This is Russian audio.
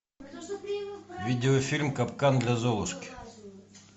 видеофильм капкан для золушки